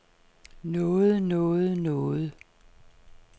noget noget noget